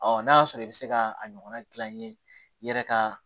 n'a y'a sɔrɔ i bɛ se ka a ɲɔgɔnna gilan n ye i yɛrɛ ka